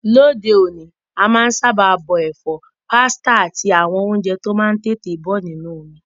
Lóde òní, a má n sábà bọ èfọ́, pasta áti àwon ounje to má n tètè bo nínú omi